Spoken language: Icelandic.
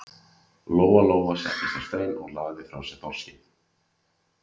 Lóa Lóa settist á stein og lagði frá sér þorskinn.